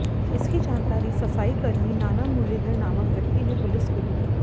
इसकी जानकारी सफाई कर्मी नाना मुरलीधर नामक व्यक्ति ने पुलिस को दी